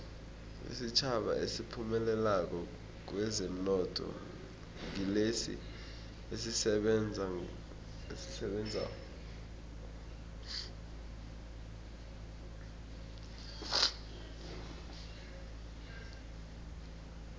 isitjhaba esiphumelelako kwezomnotho ngilesi esisebenzako